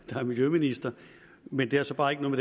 der er miljøminister men det har så bare ikke noget